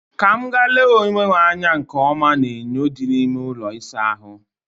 Ka m gaa lee onwe m anya nke ọma n'enyo dị n'ime ụlọ ịsa ahụ